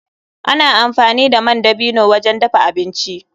Ana amfani da man dabino wajen dafa abinci.